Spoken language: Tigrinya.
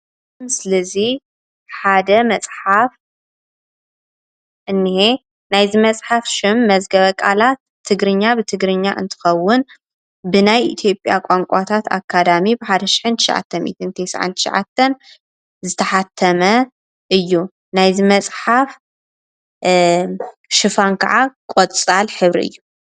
እዚ ምስሊ እዚ ሓደ መፅሓፍ እንሄ፡፡ ናይዚ መፅሓፍ ሽም መዝገበ ቃላት ትግርኛ ብትግርኛ እንትኸውን ብናይ ኢትዮጵያ ቋንቋታት ኣካዳሚ ብዓሰርተ ትሸዓተ ቴስዓን ትሸዓተን ዝተሓተመ እዩ፡፡ ናይዚ መፅሓፍ ሽፋን ከዓ ቆፃል ሕብሪ እዩ፡፡